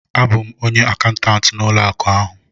A bụ m onye akaụntantị n'ụlọ akụ ahụ